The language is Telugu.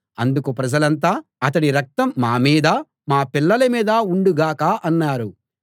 అందుకు ప్రజలంతా అతడి రక్తం మా మీదా మా పిల్లల మీదా ఉండుగాక అన్నారు